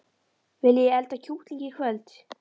Viljiði elda kjúkling í kvöld?